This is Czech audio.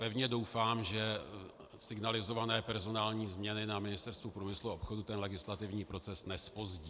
Pevně doufám, že signalizované personální změny na Ministerstvu průmyslu a obchodu ten legislativní proces nezpozdí.